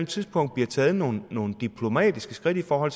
tidspunkt blev taget nogle nogle diplomatiske skridt over